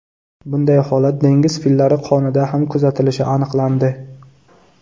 Bunday holat dengiz fillari qonida ham kuzatilishi aniqlandi.